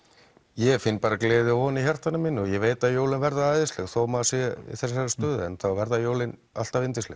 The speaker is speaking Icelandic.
ég finn bara gleði og von í hjartanu mínu og ég veit að jólin verða æðisleg þó maður sé í þessari stöðu þá verða jólin alltaf yndisleg